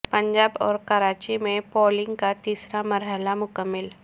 پنجاب اور کراچی میں پولنگ کا تیسرا مرحلہ مکمل